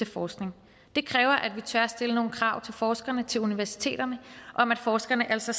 forskning det kræver at vi tør stille nogle krav til forskerne til universiteterne om at forskerne altså